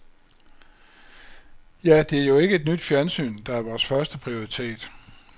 Ja, det er jo ikke et nyt fjernsyn, der er vores første prioritet.